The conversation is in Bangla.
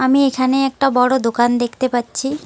আমি এখানে একটা বড়ো দোকান দেখতে পাচ্ছি।